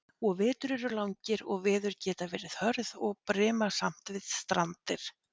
Og vetur eru langir og veður geta verið hörð og brimasamt við strandir.